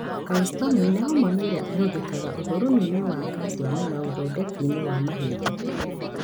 Calcitonin nĩ homoni ĩrĩa ĩhũthĩkaga ũthũrimi-inĩ wa kaciamu na ũthondeki-inĩ wa mahĩndĩ